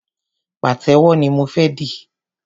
Pàtẹ́wọ́ ni mo fé di.